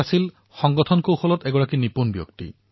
তাৰোপৰি তেওঁ সংগঠনৰ কৌশলতো নিপুণ আছিল